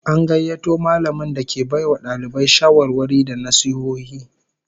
An gayyato mallamin da ke bai wa dalibai shawarwari da nasihohi